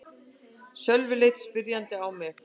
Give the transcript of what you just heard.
Sölvi leit spyrjandi á mig.